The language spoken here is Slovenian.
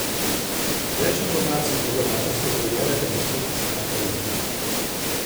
Več informacij o donatorstvu preberite na spletni strani projekta.